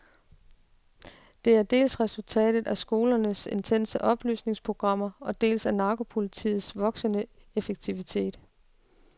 Det er dels resultatet af skolernes intense oplysningsprogrammer, dels af narkopolitiets voksende effektivitet.